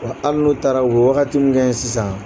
Wa hali n'u taara o bɛ wagati min kɛ yen sisan